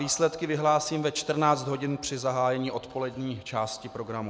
Výsledky vyhlásím ve 14 hodin při zahájení odpolední části programu.